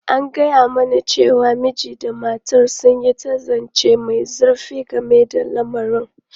An gaya mani cewa mijin da matar sun yi ta zance mai zurfi game da lamarin.